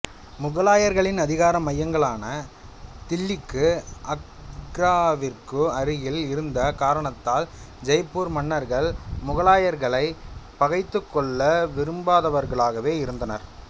முகலாயர்களின் அதிகார மையங்களான தில்லிக்கும் ஆக்ராவிற்கும் அருகில் இருந்த காரணத்தால் ஜெய்ப்பூர் மன்னர்கள் முகலாயர்களைப் பகைத்துக்கொள்ள விரும்பாதவர்களாகவே இருந்தனர்